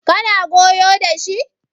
kana goyo da shi?